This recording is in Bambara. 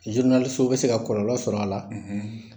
bi se ka bɔlɔlɔ sɔrɔ a la